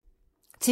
TV 2